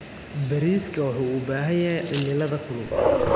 Bariiska wuxuu u baahan yahay cimilada kulul.